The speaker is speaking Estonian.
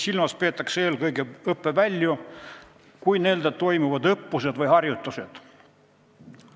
Silmas peetakse eelkõige õppevälju, kui nendel toimuvad õppused või harjutused.